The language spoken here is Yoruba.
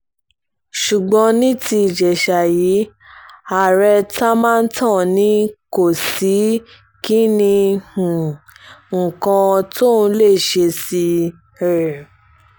ṣùgbọ́n ní ti ìjèṣà yìí ààrẹ támántán ni kò sí kinní um kan tóun lè ṣe sí i um